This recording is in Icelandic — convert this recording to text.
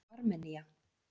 Armenía